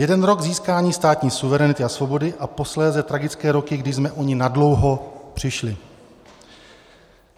Jeden rok získání státní suverenity a svobody a posléze tragické roky, kdy jsme o ni nadlouho přišli.